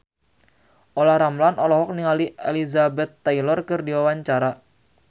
Olla Ramlan olohok ningali Elizabeth Taylor keur diwawancara